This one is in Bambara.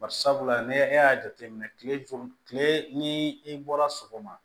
Barisabula ne e y'a jateminɛ kile joli kile ni i bɔra sɔgɔma